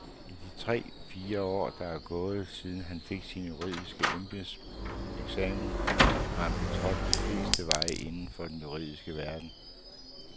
I de tre fire år, der er gået, siden han fik sin juridiske embedseksamen, har han betrådt de fleste veje inden for den juridiske verden.